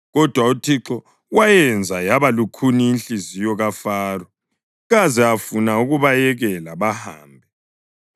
Kodwa uThixo wayenza yaba lukhuni inhliziyo kaFaro, kaze afuna ukubayekela bahambe.